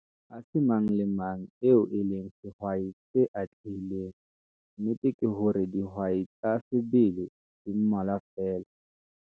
Ha se mang le mang eo e leng sehwai se atlehileng, nnete ke hore dihwai tsa sebele di mmalwa feela.